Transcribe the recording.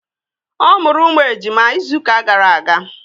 Ọ mụrụ ụmụ ejima izụka gara aga.